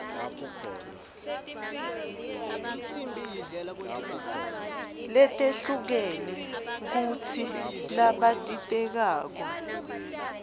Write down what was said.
letehlukene kutsi labatitekako